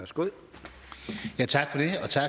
skal